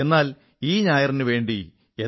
എന്നാൽ ഈ ഞായർ എന്നെ വളരെ കാത്തിരുത്തി